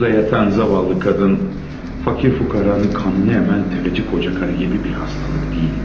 Şurda yatan zavallı qadın, fakir-füqaranın qanını əmən təfəçi kocakarı gibi bir hastalık deyildi.